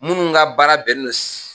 Minnu ka baara bɛn ni no